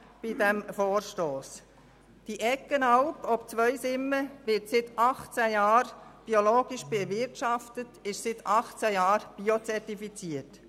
Die Eggenalp ob Zweisimmen wird seit 18 Jahren biologisch bewirtschaftet und ist seit 18 Jahren biozertifiziert.